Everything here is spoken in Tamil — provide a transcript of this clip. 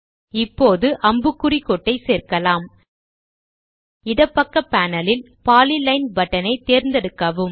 இப்பொழுது அம்புக்குறி கோட்டை சேர்க்கலாம் இடப்பக்க பேனல் ல் பாலிலைன் பட்டன் ஐத் தேர்ந்தெடுக்கவும்